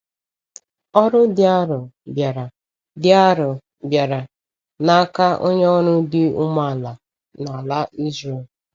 Ọrụ dị arọ bịara dị arọ bịara n’aka onye ọrụ dị umeala a n’ala Ịzrel.